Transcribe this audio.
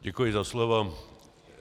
Děkuji za slovo.